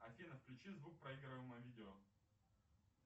афина включи звук проигрываемого видео